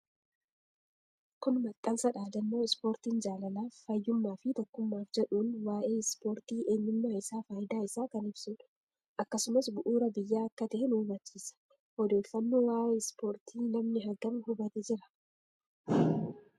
Kun maxxansa dhaadannoo ispoortiin jaalalaf fayyummaaf fi tokkummaaf jedhuun waa'ee ispoortii eenyummaa isaa faayidaa isaa kan ibsuudha. Akkasumas bu'uura biyya akka tahee nu hubachiisa. Odeeffanno waa'ee ispoorti namni hagam hubate jira?